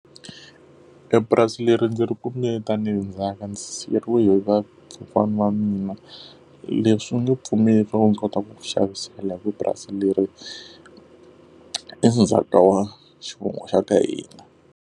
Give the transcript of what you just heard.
E purasi leri ndzi ri kumbe tanihi ndzhaka, ndzi siyeriwe hi vakokwana wa mina. Leswi u nge pfumeli ndzi kota ku ku xavisela hikuva purasi leri endzhaku ka wa xivongo xa ka hina.